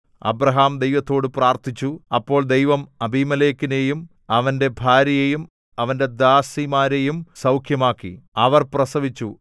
Abraham ദൈവത്തോടു പ്രാർത്ഥിച്ചു അപ്പോൾ ദൈവം അബീമേലെക്കിനെയും അവന്റെ ഭാര്യയെയും അവന്റെ ദാസിമാരെയും സൗഖ്യമാക്കി അവർ പ്രസവിച്ചു